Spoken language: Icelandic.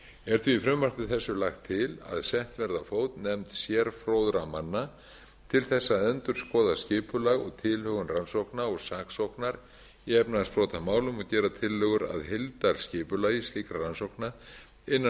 er því í frumvarpi þessu lagt til að sett verði á fót nefnd sérfróðra manna til að endurskoða skipulag og tilhögun rannsókna og saksóknar í efnahagsbrotamálum og gera tillögur að heildarskipulagi slíkra rannsókna innan